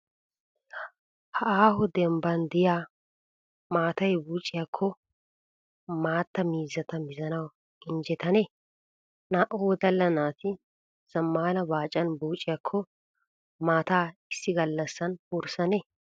Ha aaho dembbaan de'iyaa maatay buucciyaakko maatta miizzata mizanawu injjetane? Naa"u wodalla naati zammaana baacaan buucciyaakoo ha maataa issi gallasaan wursanee?